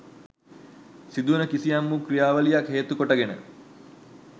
සිදුවන කිසියම් වූ ක්‍රියාවලියක් හේතුකොට ගෙන